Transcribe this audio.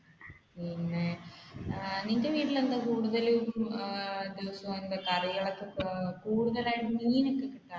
പിന്നെ ഏർ നിന്റെ വീട്ടിൽ എന്താ കൂടുതലും